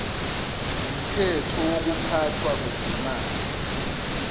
ngumthetho wokuphathwa kwezimali